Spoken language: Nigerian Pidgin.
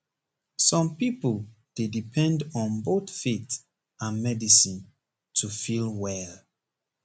some people dey depend on both faith and medicine to feel well